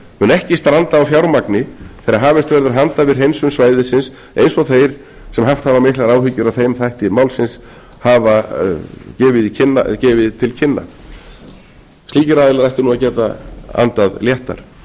mun ekki stranda á fjármagni þegar hafist verður handa við hreinsun svæðisins eins og þeir sem haft hafa miklar áhyggjur af þeim þætti málsins hafa gefið til kynna slíkir aðilar ættu nú að geta andað léttar